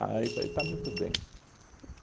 falei, está muito bem. E